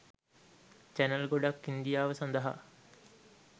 channel ගොඩක් ඉන්දියාව සඳහා